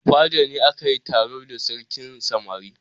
A fada ne aka yi taro da sarkin samari.